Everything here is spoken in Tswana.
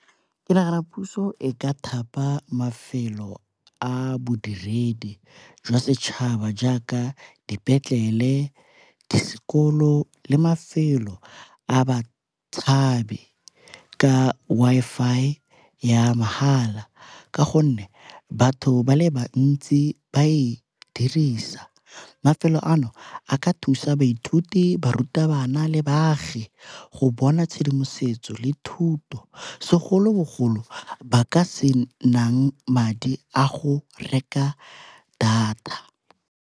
Ke nagana puso e ka thapa mafelo a bodiredi jwa setšhaba jaaka dipetlele, di sekolo le mafelo a batshabi ka Wi-Fi ya mahala, ka gonne batho ba le bantsi ba e dirisa. Mafelo ano a ka thusa baithuti, barutabana le baagi go bona tshedimosetso le thuto segolobogolo ba ka se nang madi a go reka data.